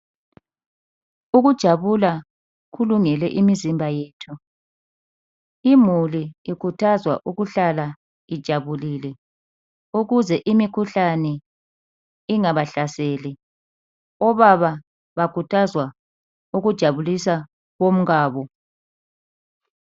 Ukujabula kulungele imizimba yethu. Imuli ikhuthazwa ukuhlala ijabulile ukuze imikhuhlane ingabahlaseli. Obaba bakhuthazwa ukujabulisa omkabo.